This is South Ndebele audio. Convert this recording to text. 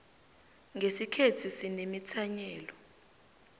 nqesikhethu sinemithanyelo